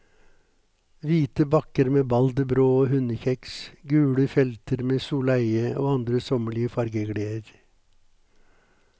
Hvite bakker med balderbrå og hundekjeks, gule felter med soleie og andre sommerlige fargegleder.